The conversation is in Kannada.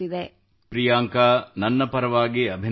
ಪ್ರಿಯಾಂಕಾ ನನ್ನ ಪರವಾಗಿ ಅಭಿನಂದನೆಗಳು